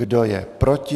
Kdo je proti?